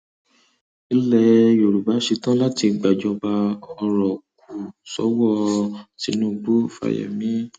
ilẹ yorùbá ṣetán láti gbàjọba ọrọ kù sọwọ tinubu fáyemí